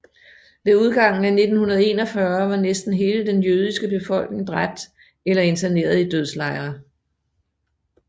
Ved udgangen af 1941 var næsten hele den jødiske befolkning dræbt eller interneret i dødslejre